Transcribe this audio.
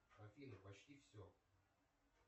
афина почти все